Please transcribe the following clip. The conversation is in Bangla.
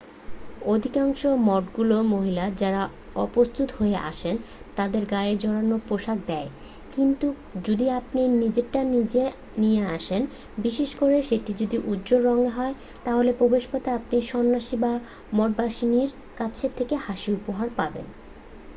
অধিকাংশ মঠগুলো মহিলা যারা অপ্রস্তুত হয়ে আসে তাদেরকে গায়ে জড়ানোর পোশাক দেয় কিন্তু যদি আপনি নিজেরটা নিয়ে আসেন বিশেষ করে সেটা যদি উজ্জ্বল রঙের হয় তাহলে প্রবেশপথে আপনি সন্নাসী বা মঠবাসিনীর কাছ থেকে হাসি উপহার পাবেন